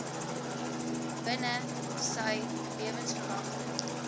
binne sy lewensverwagting